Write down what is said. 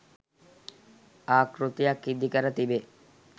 ආකෘතියක් ඉදිකර තිබේ.